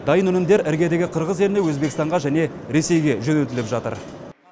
дайын өнімдер іргедегі қырғыз еліне өзбекстанға және ресейге жөнелтіліп жатыр